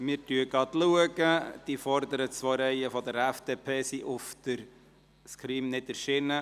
Die Stimmen der vorderen zwei Reihen der FDP sind nicht auf dem Screen erschienen.